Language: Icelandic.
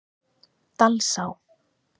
Dalsá